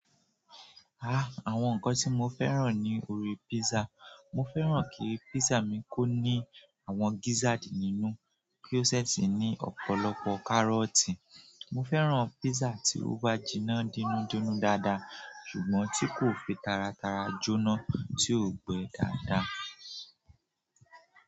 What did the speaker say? Ah! Àwọn nǹkan tí mo fẹ́ràn ní orí písà, mo fẹ́ràn kí písà mi kó ní àwọn gízádì nínú, kí ó sẹ̀ sì ní ọ̀pọ̀lọpọ̀ kárọ̀tì. Mo fẹ́ràn písà tí ó bá jiná dínúdínú dáadáa ṣùgbọ́n tí kò fi taratara jóná tí ò gbẹ dáadáa.